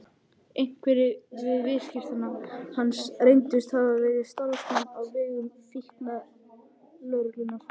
Einhverjir viðskiptavina hans reyndust hafa verið starfsmenn á vegum fíkniefnalögreglunnar.